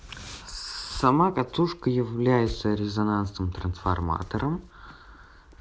сама катушка является резонансным трансформатором